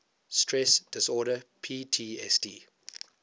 stress disorder ptsd